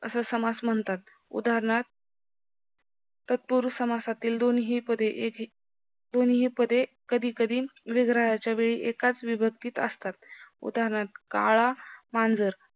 असं समास म्हणतात उदानहार्थ तत्पुरुष समासातील दोन ही पदे दोनही पदे कधी कधी विग्रहाच्या वेळी एकाच विभक्तीत असतात उदानहार्थ काळा मांजर